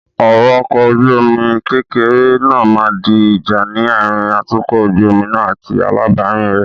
Ọ̀rọ̀ ọkọ ojú omi kékeré náà máa di ìjà ní àárín atukọ̀ ojú omi náà àti alábàárìn rẹ.